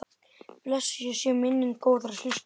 Blessuð sé minning góðrar systur.